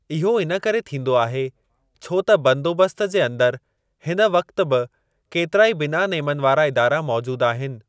इहो इन करे थींदो आहे, छो त बंदोबस्त जे अंदरि हिन वक़्ति बि केतिरा ई बिना नेमनि वारा इदारा मौजूद आहिनि।